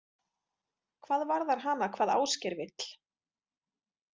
Hvað varðar hana hvað Ásgeir vill?